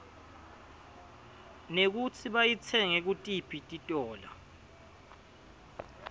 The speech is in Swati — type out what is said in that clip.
mekutsi bayitsenge kutiphi titiolo